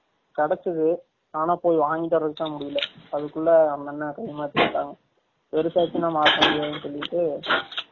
கிடைசது ஆனா போய் வாங்கிட்டு வரதுக்கு தான் முடியல அதுகுல்ல அந்த அன்னா கை மாத்தி வுடாங்க பேருசு ஆசுனா மாத்த முடியாது சொல்லிட்டு